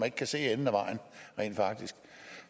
ikke kan se enden